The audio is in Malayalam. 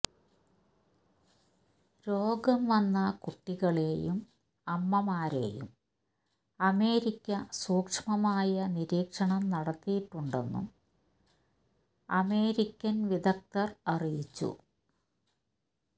രോഗം വന്ന കുട്ടികളെയും അമ്മമാരെയും അമേരിക്ക സൂക്ഷമമായ നിരീക്ഷണം നടത്തിയിട്ടുണ്ടെന്നും അമേരിക്കന് വിദഗ്ധര്അറിയിച്ചു